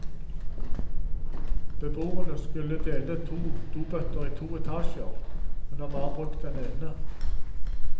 Beboerne skulle dele på to dobøtter i to etasjer, men har bare brukt den ene.